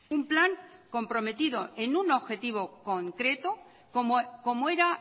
un plan comprometido en un objetivo concreto como era